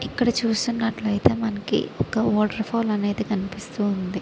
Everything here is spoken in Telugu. ఇక్కడ చూసినట్లయితే మనకి వాటర్ ఫాల్ అనేది కనిపిస్తూ ఉంది.